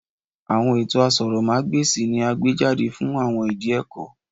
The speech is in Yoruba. Awọn eto asòrò má gbèsì ni a gbejade fun awọn idi ẹkọ